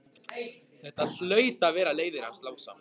Þetta hlaut að vera leiðið hans Lása.